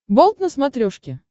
болт на смотрешке